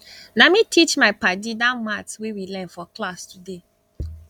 na me teach my paddy dat maths wey we learn for class today